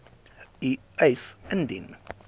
u eis indien